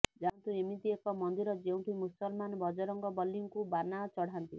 ଜାଣନ୍ତୁ ଏମତି ଏକ ମନ୍ଦିର ଯେଉଁଠି ମୁସଲମାନ ବଜରଙ୍ଗବଲୀଙ୍କୁ ବାନା ଚଢାନ୍ତି